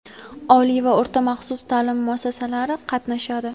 oliy va o‘rta-maxsus taʼlim muassasalari qatnashadi.